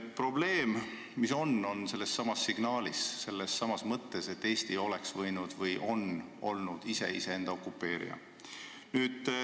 Probleem on sellessamas signaalis, sellessamas mõttes, et Eesti on nagu olnud iseenda okupeerija.